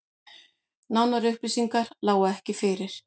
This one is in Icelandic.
Nánari upplýsingar lágu ekki fyrir